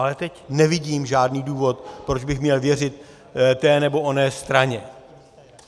Ale teď nevidím žádný důvod, proč bych měl věřit té nebo oné straně.